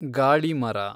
ಗಾಳಿ ಮರ